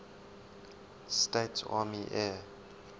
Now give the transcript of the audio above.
states army air